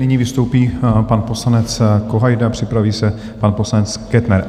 Nyní vystoupí pan poslanec Kohajda, připraví se pan poslanec Kettner.